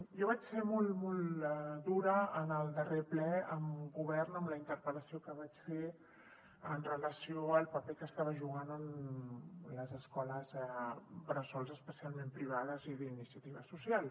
jo vaig ser molt dura en el darrer ple amb el govern amb la interpel·lació que vaig fer amb relació al paper que estava jugant en les escoles bressol especialment les privades i d’iniciativa social